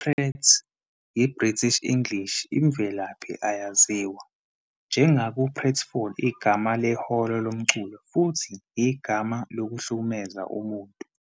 I-Prat, iBritish English, imvelaphi ayaziwa, njengaku-pratfall, igama lehholo lomculo, futhi igama lokuhlukumeza umuntu.